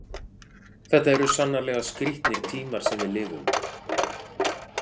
Þetta eru sannarlega skrítnir tímar sem við lifum.